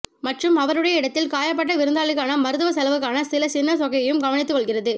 மற்றும் அவருடைய இடத்தில் காயப்பட்ட விருந்தாளிக்கான மருத்துவ செலவுக்கான சில சின்ன தொகையையும் கவனித்துக்கொள்கிறது